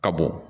Ka bɔ